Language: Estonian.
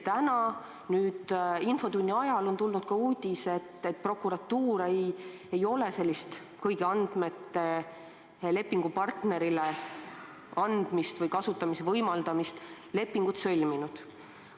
Täna, nüüd infotunni ajal tuli ka uudis, et prokuratuur ei ole sellist kõigi andmete lepingupartnerile andmiseks või nende kasutamise võimaldamiseks lepingut sõlminud.